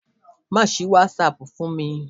Má sì WhatsApp fún mi!